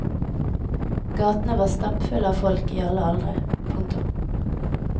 Gatene var stappfulle av folk i alle aldre. punktum